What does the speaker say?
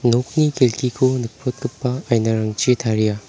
nokni kelkiko nikprotgipa ainarangchi taria.